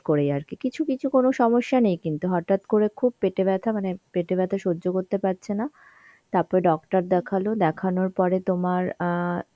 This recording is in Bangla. করেই আর কি. কিছু কিছু কোন সমস্যা নেই কিন্তু হঠাৎ করে খুব পেটে ব্যথা মানে পেটে ব্যথা সহ্য করতে পারছে না তারপর doctor দেখালো, দেখানোর পরে তোমার অ্যাঁ